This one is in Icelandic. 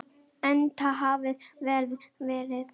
Enda hafi veðrið verið gott.